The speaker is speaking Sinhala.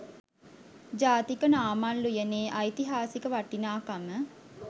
ජාතික නාමල් උයනේ ඓතිහාසික වටිනාකම